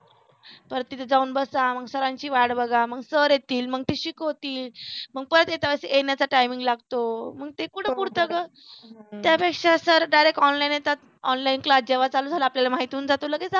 परत तिथे जाऊन बसा मग सरांची वाट बघा मग सर येतील मग ते शिकवतील मग परत येण्याचा timing लागतो मग ते कुठ पुरत ग त्यापेक्षा सर direct online येतात online class जेव्हा चालू झालाय आपल्याला माहीत होऊन जातं लगेच